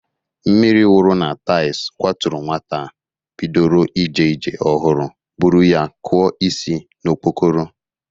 Mmiri wuru na taịlz kwaturu nwata a bidoro ije ije ọhụrụ bụrụ ya kụọ isi n'okpokoro.